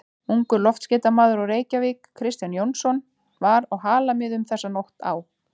Ungur loftskeytamaður úr Reykjavík, Kristján Jónsson, var á Halamiðum þessa nótt á